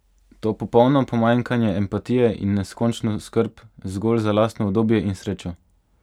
To popolno pomanjkanje empatije in neskončno skrb zgolj za lastno udobje in srečo?